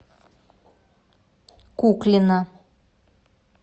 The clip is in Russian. куклина